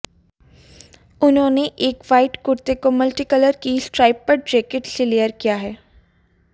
उन्होंने एक वाइट कुर्ते को मल्टीकलर की स्ट्राइप्ड जैकेट से लेयर किया है